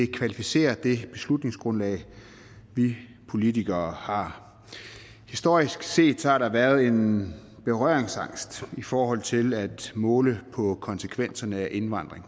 kvalificerer det beslutningsgrundlag vi politikere har historisk set har der været en berøringsangst i forhold til at måle på konsekvenserne af indvandring